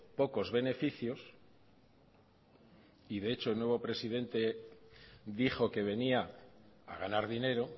pocos beneficios y de hecho el nuevo presidente dijo que venía a ganar dinero